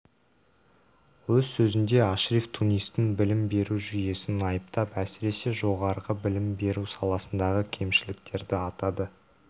өз сөзінде ашриф тунистің білім беру жүйесін айыптап әсіресе жоғары білім беру саласындағы кемшіліктерді атады